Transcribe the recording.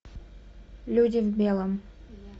люди в белом